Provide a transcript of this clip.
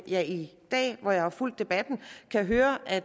jeg i dag hvor jeg har fulgt debatten kan høre at